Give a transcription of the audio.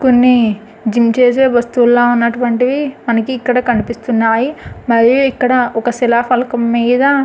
ఇక్కడాన్ని gym చేసే వస్తువ లాంటివి మనకు ఇక్కడ కనిపిస్తున్నాయి. మరియు ఇక్కడ ఒక శిలాఫలకం మీద --